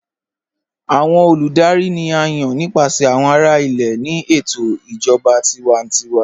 Awọn olùdárì ni à yán nípasẹ̀ awọn ará ilẹ̀ ní ètò ìjọba tìwàntíwà.